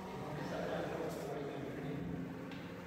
Eipongesaki larikok oo tegeluaki ng'ejuko